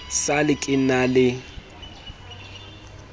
sa le ke na le